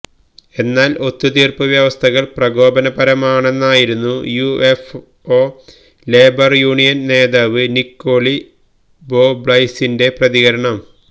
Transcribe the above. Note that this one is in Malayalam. എന്നാല് ഒത്തുതീര്പ്പുവ്യവസ്ഥകള് പ്രകോപനപരമാണെന്നായിരുന്നു യുഎഫ്ഒ ലേബര് യൂണിയന് നേതാവ് നിക്കോളി ബോബ്ലൈസിന്റെ പ്രതികരണം